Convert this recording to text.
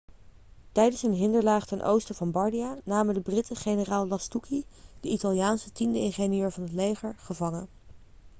tijdens een hinderlaag ten oosten van bardia namen de britten generaal lastucci de italiaanse tiende ingenieur van het leger gevangen